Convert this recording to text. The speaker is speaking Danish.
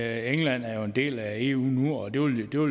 at england er en del af eu nu og det vil jo